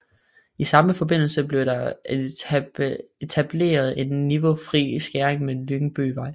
I samme forbindelse blev der etableret en niveaufri skæring med Lyngbyvej